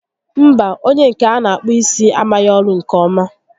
Mba, onyé nke a n'akpụ isi amaghị ọrụ nke ọma